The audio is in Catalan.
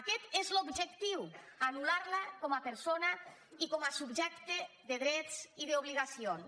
aquest és l’objectiu anul·lar la com a persona i com a subjecte de drets i d’obligacions